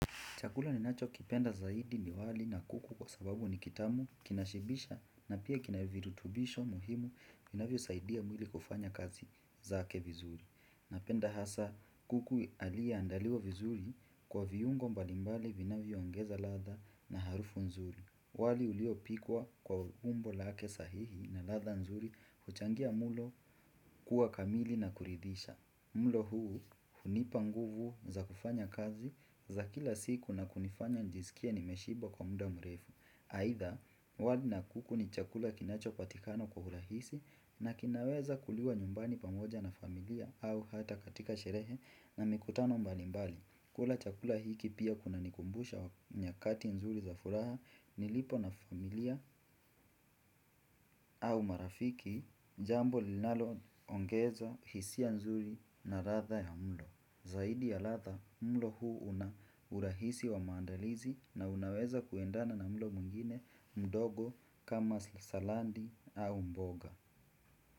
Chakula ni nacho kipenda zaidi ni wali na kuku kwa sababu ni kitamu kinashibisha na pia kinavirutubisho muhimu vinavyo saidia mwili kufanya kazi zake vizuri. Napenda hasa kuku alie andaliwa vizuri kwa viungo mbalimbali vinavyo ongeza latha na harufu nzuri. Wali uliopikwa kwa umbo lake sahihi na latha nzuri kuchangia mulo kuwa kamili na kuridisha. Mlo huu hunipa nguvu za kufanya kazi za kila siku na kunifanya njisikie nimeshiba kwa muda mrefu. Haitha wali na kuku ni chakula kinacho patikana kwa urahisi na kinaweza kuliwa nyumbani pamoja na familia au hata katika sherehe na mikutano mbalimbali. Kula chakula hiki pia kuna nikumbusha wakini nyakati nzuri za furaha nilipo na familia au marafiki jambo linalo ongezo hisia nzuri na latha ya mlo. Zaidi ya latha, mlo huu una urahisi wa maandalizi na unaweza kuendana na mlo mwingine mdogo kama salandi au mboga.